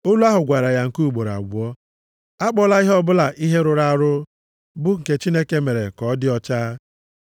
Olu ahụ gwara ya nke ugboro abụọ, “Akpọla ihe ọbụla ihe rụrụ arụ bụ nke Chineke mere ka ọ dị ọcha.”